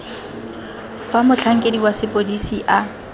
fa motlhankedi wa sepodisi a